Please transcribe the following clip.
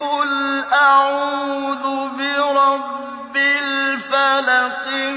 قُلْ أَعُوذُ بِرَبِّ الْفَلَقِ